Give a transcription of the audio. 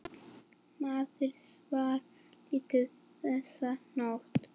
Maður svaf lítið þessa nótt.